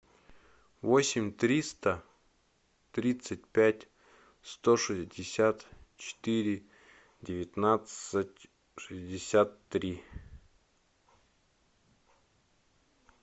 восемь триста тридцать пять сто шестьдесят четыре девятнадцать шестьдесят три